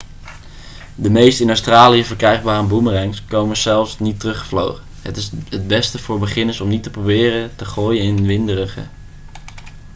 de meeste in australië verkrijgbare boemerangs komen zelfs niet teruggevlogen het is het beste voor beginners om niet te proberen te gooien in winderige